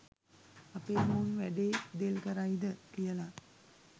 අපේම උන් වැඩේ දෙල් කරයිද කියල.